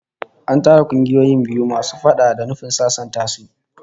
An tara kungiyoyin biyu masu faɗa da nufin sasanta su